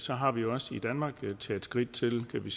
så har vi jo også i danmark taget skridt til at give